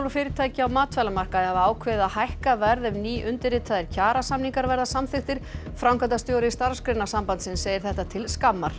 og fyrirtæki á matvælamarkaði hafa ákveðið að hækka verð ef nýundirritaðir kjarasamningar verða samþykktir framkvæmdastjóri Starfsgreinasambandsins segir þetta til skammar